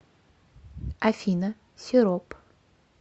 афина сироп